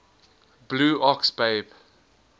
blue ox babe